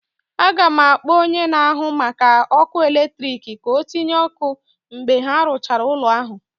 Aga m akpọ onye na-ahụ maka ọkụ eletrik ka ọ tịnye ọkụ mgbe ha rụchara ụlọ ahụ